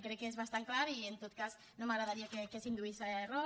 crec que és bastant clar i en tot cas no m’agradaria que s’induís a error